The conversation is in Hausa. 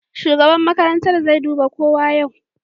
Shugaban makarantar zai duba kowa yau.